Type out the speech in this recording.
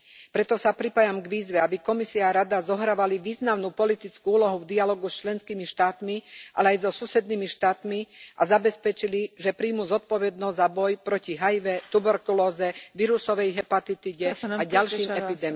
Preto sa pripájam k výzve, aby Komisia a Rada zohrávali významnú politickú úlohu v dialógu s členskými štátmi, ale aj so susednými štátmi, a zabezpečili, že prijmú zodpovednosť za boj proti HIV, tuberkulóze, vírusovej hepatitíde a ďalším epidémiám.